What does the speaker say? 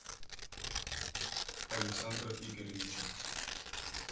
александра игоревича